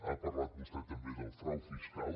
ha parlat vostè també del frau fiscal